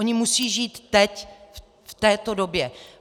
Oni musí žít teď v této době.